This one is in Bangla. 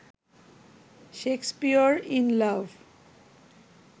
Shakespeare in love